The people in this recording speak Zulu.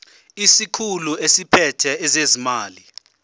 isikhulu esiphethe ezezimali